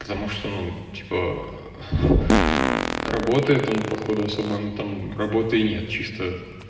потому что ну типа ээ ха работает он походу особо ну там работы и нет чисто